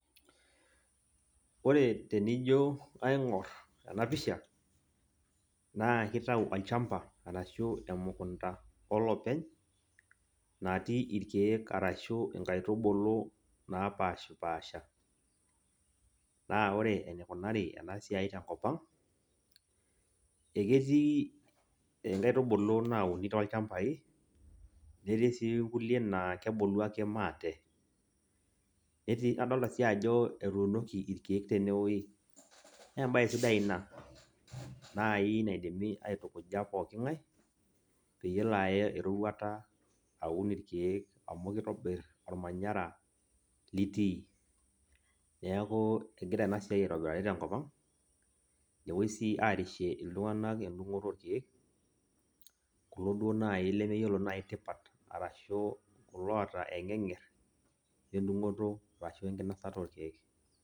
Ore tenijo aing'or enapisha, naa kitau olchamba arashu emukunda olopeny, natii irkeek arashu inkaitubulu napashipasha. Na ore enikunari enasiai tenkop ang, eketii inkaitubulu nauni tolchambai, netii si kulie naa kebulu ake maate. Netii, adolta si ajo etuunoki irkeek tenewoi. Nebae sidai ina nai naidimi aitukuja pooking'ae, peyie elo aya eroruata aun irkeek amu kitobir ormanyara litii. Neeku kegira enasiai aitobirari tenkop ang',nepoi si arishe iltung'anak edung'oto orkeek, kulo duo nai lemeyiolo nai tipat, arashu kulo oota eng'eng'er edung'oto arashu enkinosata orkeek.